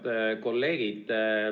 Head kolleegid!